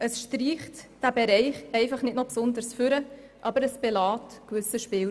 Es streicht den Bereich einfach nicht noch besonders hervor, belässt aber einen gewissen Spielraum.